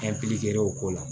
o ko la